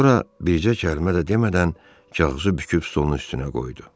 Sonra bircə kəlmə də demədən kağızı büküb stolun üstünə qoydu.